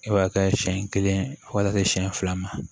E b'a kɛ siɲɛ kelen fo k'a kɛ siɲɛ fila ma